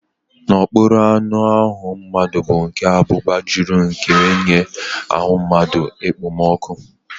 N'okpuru anụahụ mmadụ bụ nke abụba jụrụ nke na-enye ahụ mmadụ ekpomọkụ́